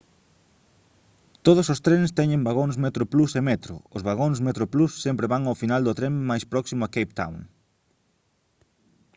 todos os trens teñen vagóns metroplus e metro os vagóns metroplus sempre van ao final do tren máis próximo a cape town